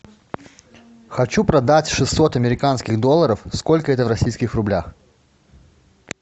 хочу продать шестьсот американских долларов сколько это в российских рублях